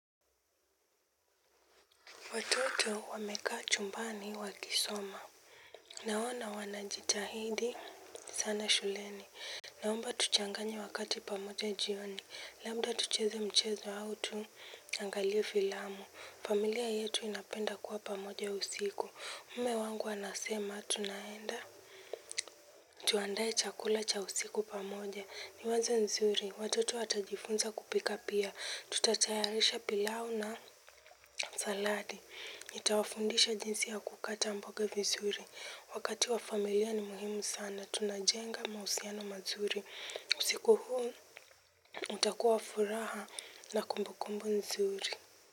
Watoto wamekaa chumbani wakisoma. Naona wanajitahidi sana shuleni. Naomba tuchanganye wakati pamoja jioni. Labda tucheze mchezo au tuangalie filamu. Familia yetu inapenda kuwa pamoja usiku. Mme wangu anasema tunaenda. Tuandae chakula cha usiku pamoja. Ni wazo nzuri. Watoto watajifunza kupika pia. Tutatayarisha pilau na saladi. Nitawafundisha jinsi ya kukata mboga vizuri. Wakati wa familia ni muhimu sana. Tunajenga mahusiano mazuri. Siku huu utakuwa wa furaha na kumbukumbu nzuri.